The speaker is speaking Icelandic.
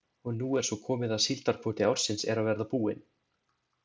Og nú er svo komið að síldarkvóti ársins er að verða búinn.